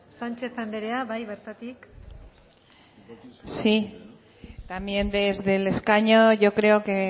sánchez andrea bai bertatik sí también desde el escaño yo creo que